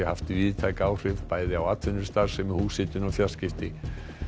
haft víðtæk áhrif bæði á atvinnustarfsemi húshitun og fjarskipti